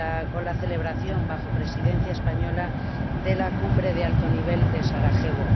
con la celebración, bajo Presidencia española, de la cumbre de alto nivel de Sarajevo.